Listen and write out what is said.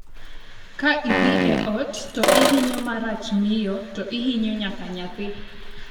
Ka idhi e ot to ihinyo marach miyo, to ihinyo nyaka nyathi''.